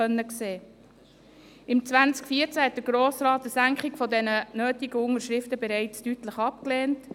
Im Jahr 2014 lehnte der Grosse Rat eine Senkung der nötigen Unterschriften bereits deutlich ab.